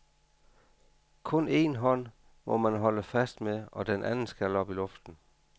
Kun én hånd må man holde fast med og den anden skal op i luften.